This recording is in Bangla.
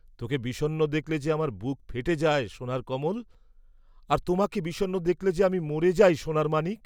"তোকে বিষন্ন দেখলে যে আমার বুক ফেটে যায়, সোনার কমল।" "আর তোমাকে বিষন্ন দেখলে যে আমি মরে যাই, সোনার মানিক।"